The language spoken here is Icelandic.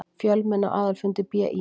Fjölmenni á aðalfundi BÍ